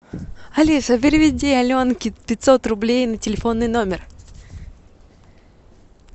алиса переведи аленке пятьсот рублей на телефонный номер